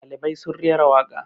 ɗalibai sun rera waka